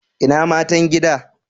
Ina Matan gida?